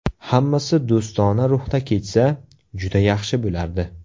Hammasi do‘stona ruhda kechsa, juda yaxshi bo‘lardi.